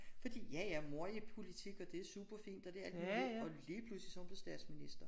Fordi ja ja mor er i politik og det super fint og det alt muligt og lige pludselig så er hun blevet statsminister